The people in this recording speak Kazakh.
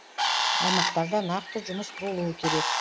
аймақтарда нақты жұмыс болуы керек